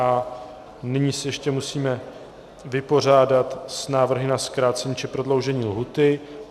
A nyní se ještě musíme vypořádat s návrhy na zkrácení či prodloužení lhůty.